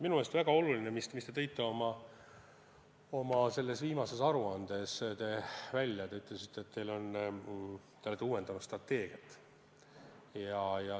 Minu meelest väga oluline asi, mille te tõite oma viimases aruandes välja, on see, et te uuendate praegu strateegiat.